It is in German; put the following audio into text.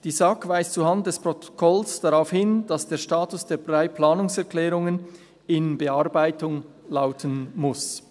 Die SAK weist zuhanden des Protokolls darauf hin, dass der Status der drei Planungserklärungen «in Bearbeitung» lauten muss.